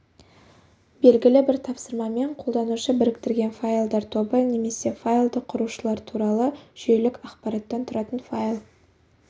белгілі бір тапсырмамен қолданушы біріктірген файлдар тобы немесе файлды құрушылар туралы жүйелік ақпараттан тұратын файл